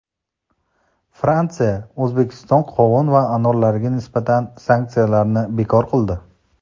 Fransiya O‘zbekiston qovun va anorlariga nisbatan sanksiyalarni bekor qildi.